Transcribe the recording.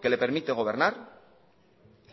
que le permite gobernar